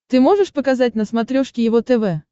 ты можешь показать на смотрешке его тв